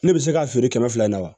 Ne bɛ se ka feere kɛmɛ fila in na wa